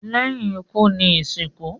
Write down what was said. lẹ́yìn ikú ni ìsìnkú.